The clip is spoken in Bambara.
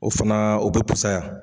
O fana o be pusaya